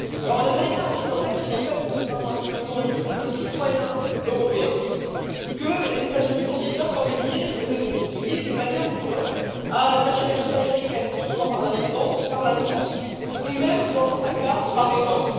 Un Américain accidentel, c'est en fait, contrairement à ce que le nom indique, un citoyen européen que les États Unis considèrent comme lié d'une manière ou d'une autre à la nationalité américaine, que ce soit par l'ascendance, par la naissance ou même, dans certains cas, par erreur.